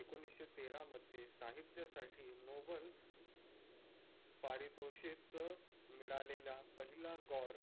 एकोनिषे तेरा मध्ये साहित्य साथी नोबल पारितोषिक मिळालेला पहिला गौर